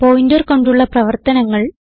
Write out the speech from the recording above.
pointer കൊണ്ടുള്ള പ്രവർത്തനങ്ങൾ